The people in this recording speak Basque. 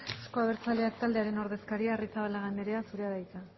euzko abertzaleak taldearen ordezkaria arrizabalaga anderea zurea da hitza